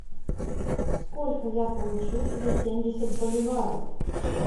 сколько я получу за семьдесят боливаров